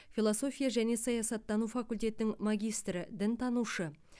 философия және саясаттану факультетінің магистрі дінтанушы